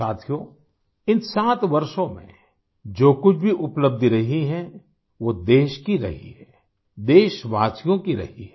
साथियों इन 7 वर्षों में जो कुछ भी उपलब्धि रही है वो देश की रही है देशवासियों की रही है